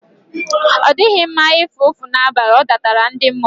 Ọ dịghị nma ịfụ ụfụ n'abalị, ọ dọtara ndị mmụọ.